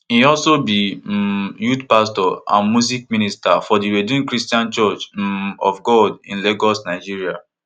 e also be um youth pastor and music minister for di redeemed christian church um of god in lagos nigeria